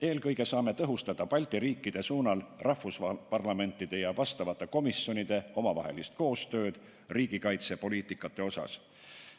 Eelkõige saame tõhustada Balti riikide suunal parlamentide ja vastavate komisjonide omavahelist koostööd riigikaitsepoliitikate osas.